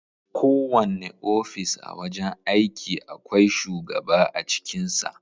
Kowane ofis a wajen aiki akwai shugaba a cikin sa.